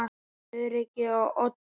Öryggið á oddinn!